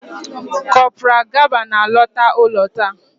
Kopral Gaba na-alọta ụlọ taa